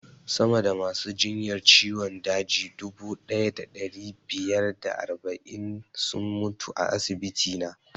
Sama da masu jinyar ciwon daji dubu ɗaya da ɗari biyar da arba'in sun mutu a asibiti na